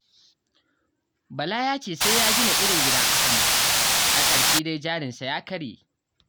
Bala ya ce sai ya gina irin gidan Ahamad, a ƙarshe dai jarinsa ya karye.